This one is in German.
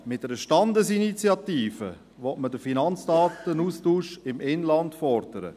Mit einer Standesinitiative will man den Finanzdatenaustausch im Inland fordern.